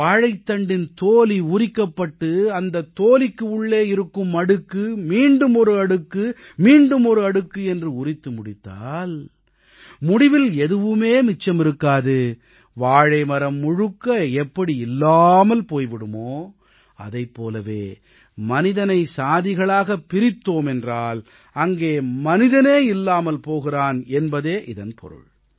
வாழைத்தண்டின் தோல் உரிக்கப்பட்டு அந்தத் தோலுக்கு உள்ளே இருக்கும் அடுக்கு மீண்டும் ஒரு அடுக்கும் மீண்டும் ஒரு அடுக்கு என்று உரித்து முடித்தால் முடிவில் எதுவுமே மிச்சம் இருக்காது வாழை மரம் முழுக்க எப்படி இல்லாமல் போய் விடுமோ அதைப் போலவே மனிதனை சாதிகளாகப் பிரித்தோமென்றால் அங்கே மனிதனே இல்லாமல் போகிறான் என்பதே இதன் பொருள்